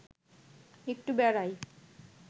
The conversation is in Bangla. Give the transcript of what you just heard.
একটু বেড়াই